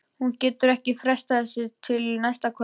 Hún getur ekki frestað þessu til næsta kvölds.